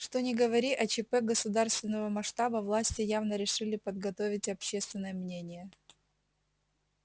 что ни говори а чп государственного масштаба власти явно решили подготовить общественное мнение